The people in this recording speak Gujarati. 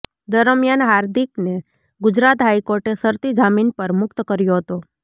દરમિયાન હાર્દિકને ગુજરાત હાઇકોર્ટે શરતી જામીન પર મુક્ત કર્યો હતો